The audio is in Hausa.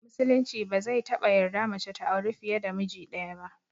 Musulunci ba zai taɓa yarda mace ta auri fiye da miji ɗaya ba